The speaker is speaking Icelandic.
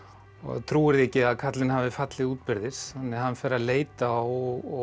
trúir því ekki að karlinn hafi fallið útbyrðis þannig að hann fer að leita og